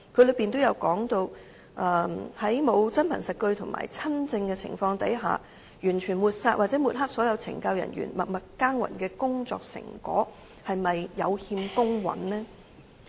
當中提到在沒有真憑實據和親證的情況下，完全抹煞或抹黑所有懲教人員默默耕耘的工作成果，是否有欠公允呢？